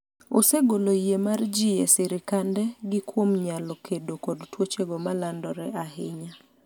osegolo yie mar jii e sirikande gi kuom nyalo kedo kod tuochego ma landore ahinya